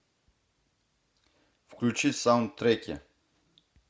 включи саундтреки